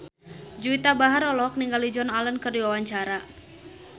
Juwita Bahar olohok ningali Joan Allen keur diwawancara